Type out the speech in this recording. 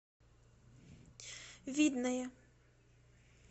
видное